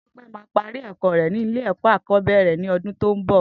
Tope má pàrí ẹkọ rè ni ilé ẹkọ àkọ̀bẹ̀rẹ̀ ni ọ̀dún tó n bọ